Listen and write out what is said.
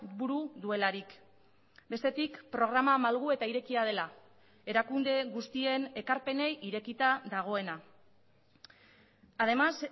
buru duelarik bestetik programa malgu eta irekia dela erakunde guztien ekarpenei irekita dagoena además